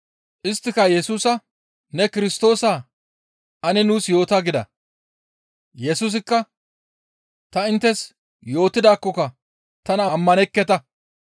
Isttika Yesusa, «Ne Kirstoosaa? Ane nuus yoota» gida. Yesusikka, «Ta inttes yootidaakkoka tana ammanekketa.